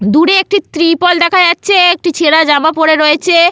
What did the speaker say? দূরে একটি ত্রিপল দেখা যাচ্ছে একটি ছেঁড়া জামা পড়ে রয়েছে।